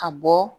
Ka bɔ